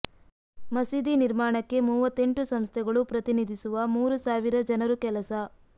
ಮಸೀದಿ ನಿರ್ಮಾಣಕ್ಕೆ ಮೂವತ್ತೆಂಟು ಸಂಸ್ಥೆಗಳು ಪ್ರತಿನಿಧಿಸುವ ಮೂರು ಸಾವಿರ ಜನರು ಕೆಲಸ